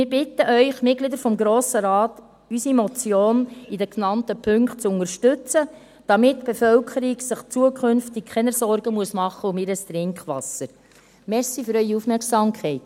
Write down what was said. Wir bitten Sie, die Mitglieder des Grossen Rates, unsere Motion in den genannten Punkten zu unterstützen, damit sich die Bevölkerung künftig keine Sorgen um ihr Trinkwasser machen muss.